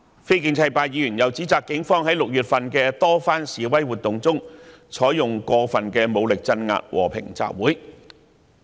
非建制派議員又指責警方在6月的多次示威活動中，使用過分武力鎮壓和平集會。